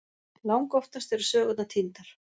Langoftast eru sögurnar týndar.